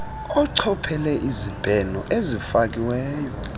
achophele izibheno ezifakiweyo